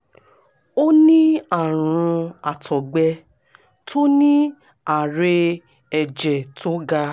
ó ní àrùn àtọ̀gbẹ tó ní ààrè ẹ̀jẹ̀ tó ga